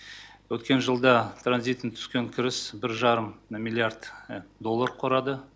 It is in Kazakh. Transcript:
өткен жылда транзиттен түскен кіріс бір жарым миллиард доллар құрады